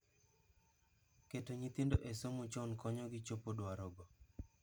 Keto nyithindo e somo chon konyo gi chopo dwaro go.